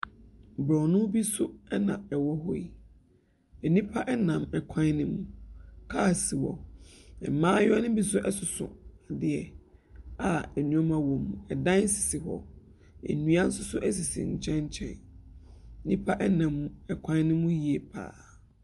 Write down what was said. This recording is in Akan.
Borɔno bi so na ɛwɔ hɔ yi. Nnipa nam kwan no mu. Kaa si hɔ. Mmayewa no bi nso soso adeɛ a nneɛma wom. Dan sisi hɔ, nnua nso so sisi nkyɛn nkyɛn. Nnipa nam kwan no mu yie pa ara.